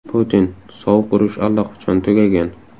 Putin: Sovuq urush allaqachon tugagan.